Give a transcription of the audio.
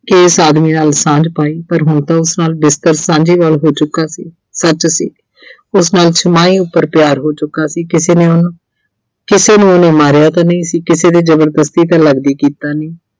ਕਿ ਇਸ ਆਦਮੀ ਨਾਲ ਸਾਂਝ ਪਾਈ, ਪਰ ਹੁਣ ਤਾਂ ਉਸ ਨਾਲ ਬਿਸਤਰ ਸਾਂਝਾ ਹੋ ਚੁੱਕਾ ਸੀ, ਸੱਚ ਸੀ। ਉਸ ਨਾਲ ਭਰ ਪਿਆਰ ਹੋ ਚੁੱਕਾ ਸੀ ਕਿਸੇ ਨੂੰ ਅਮ ਕਿਸੇ ਨੂੰ ਉਹਨੇ ਮਾਰਿਆ ਤਾਂ ਨਹੀਂ ਸੀ ਕਿਸੇ ਦੇ ਜਬਰਦਸਤੀ ਤਾਂ ਲੱਗਦਾ ਕੀਤਾ ਨਹੀਂ।